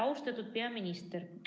Austatud peaminister!